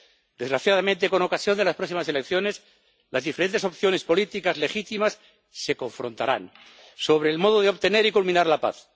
Desgraciadamente, con ocasión de las próximas elecciones, las diferentes opciones políticas legítimas se confrontarán sobre el modo de obtener y culminar la paz.